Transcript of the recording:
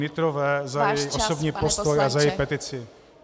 Nytrové za její osobní postoj a za její petici.